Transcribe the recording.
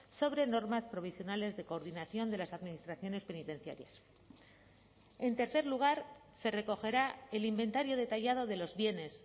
sobre normas provisionales de coordinación de las administraciones penitenciarias en tercer lugar se recogerá el inventario detallado de los bienes